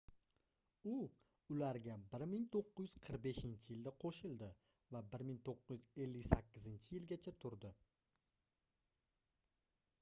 u ularga 1945-yilda qoʻshildi va 1958-yilgacha turdi